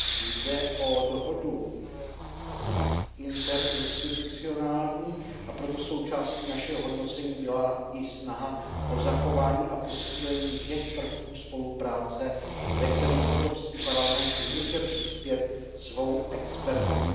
Jde o dohodu interinstitucionální, a proto součástí našeho hodnocení byla i snaha o zachování a posílení těch prvků spolupráce, ve kterých Evropský parlament může přispět svou expertizou.